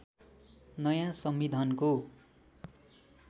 नयाँ संविधानको